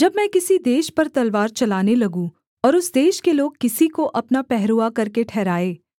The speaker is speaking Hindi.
जब मैं किसी देश पर तलवार चलाने लगूँ और उस देश के लोग किसी को अपना पहरुआ करके ठहराएँ